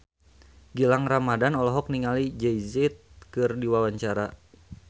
Gilang Ramadan olohok ningali Jay Z keur diwawancara